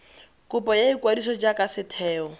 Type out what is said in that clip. kopo ya ikwadiso jaaka setheo